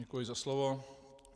Děkuji za slovo.